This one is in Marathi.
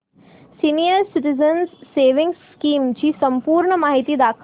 सीनियर सिटिझन्स सेविंग्स स्कीम ची संपूर्ण माहिती दाखव